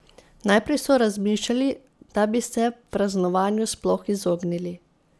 Najprej so razmišljali, da bi se praznovanju sploh izognili.